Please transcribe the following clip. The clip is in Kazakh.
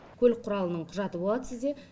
көлік құралының құжаты болады сізде